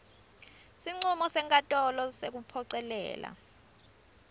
sincumo senkantolo sekuphocelela